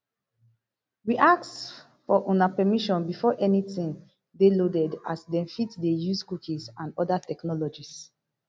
we ask for una permission before anytin dey loaded as dem fit dey use cookies and oda technologies